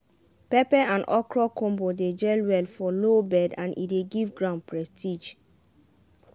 pepper and okra combo dey gel well for low bed and e dey give ground prestige.